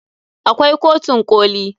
Akwai kotun koli.